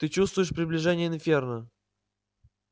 ты чувствуешь приближение инферно